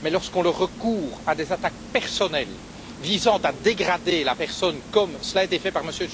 Mais, lorsque l'on recourt à des attaques personnelles visant à dégrader la personne, comme cela a été fait par M.